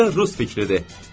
Necə də rus fikridir!